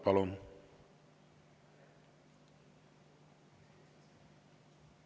Palun!